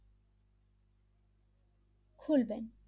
খুলবেন,